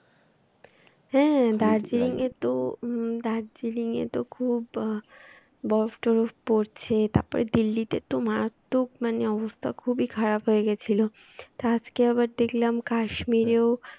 হ্যাঁ দার্জিলিং এতে উহ দার্জিলিং এ তো খুব বরফ টরফ পড়ছে তারপরে দিল্লিতে তো মারাত্মক মানে অবস্থা খুবই খারাপ হয়ে গেছিল আজকে আবার দেখলাম কাশ্মীরেও